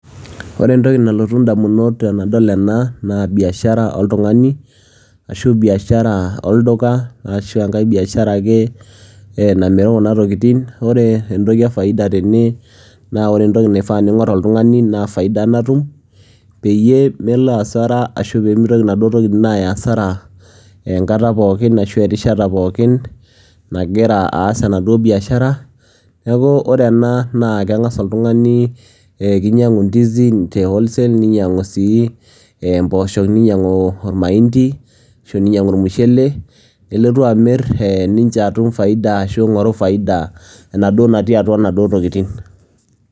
Ore entoki nalotu ndamuot tenadol ena naa biashara oltung'ani ashu biashara olduka, ashu enkae biashara ake e namiru kuna tokitin. Ore entoki e faida tene naa ore entoki naifaa niing'or oltung'ani naa faida natum, peyie melo hasara ashu mitoki inaduo tokitin aaya hasara enkata pookin ashu erishata pookin nagira aas enaduo biashara. Neeku ore ena naa keng'asa oltung'ani ee kinyang'u ndizi te wholesale, ninyang'u sii empoosho, ninyang'u omaindi ashu ninyang'u ormushele, nelotu amir ee ninche atum faida ashu aing'oru faida enaduo natii atua inaduo tokitin.